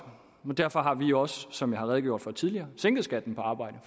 derfor har vi også som jeg har redegjort for tidligere sænket skatten på arbejde